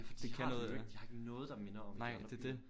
Det har de jo ikke de har ikke noget der minder om i de andre byer